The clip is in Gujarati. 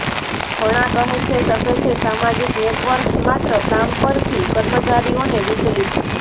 ઘણા કહે છે શકે છે સામાજિક નેટવર્ક્સ માત્ર કામ પરથી કર્મચારીઓને વિચલિત